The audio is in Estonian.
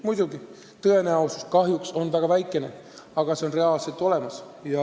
Muidugi, tõenäosus, et see õnnestub, on kahjuks väga väikene, aga see on reaalselt olemas.